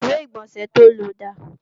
ìwé-ìgbọ̀nsẹ̀ to lò dà?